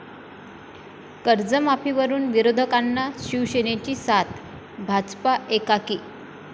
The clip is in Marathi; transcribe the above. कर्जमाफीवरुन विरोधकांना शिवसेनेची साथ, भाजपा एकाकी